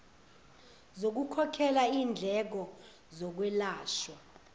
zokukhokhela indleko zokwelashwa